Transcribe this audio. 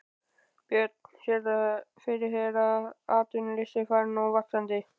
Björn: Sérðu fyrir þér að atvinnuleysi fari nú vaxandi?